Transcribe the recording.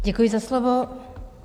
Děkuji za slovo.